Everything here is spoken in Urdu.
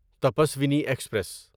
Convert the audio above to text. تپسوینی ایکسپریس